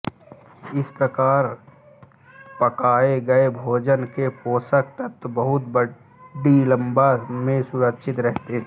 इस प्रकार पकाए गए भोजन के पोषक तत्व बहुत बड़ी मात्रा में सुरक्षित रहते हैं